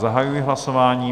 Zahajuji hlasování.